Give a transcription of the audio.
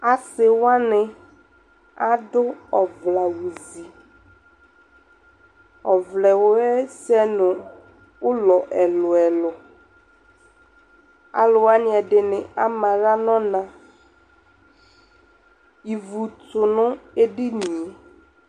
Asɩ wanɩ adʋ ɔvlɛawʋzi Ɔvlɛ yɛ sɛ ʋlɔ ɛlʋ-ɛlʋ Alʋ wanɩ ɛdɩnɩ ama aɣla nʋ ɔna Ivu tʋ nʋ edini yɛ